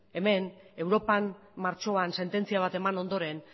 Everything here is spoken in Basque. europan martxoan sententzia bat eman ondoren